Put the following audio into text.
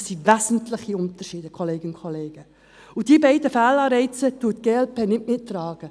Das sind wesentliche Unterschiede, Kolleginnen und Kollegen, und diese beiden Fehlanreize trägt die glp-Fraktion nicht mit.